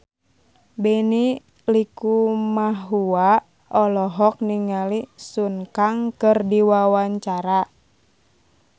Benny Likumahua olohok ningali Sun Kang keur diwawancara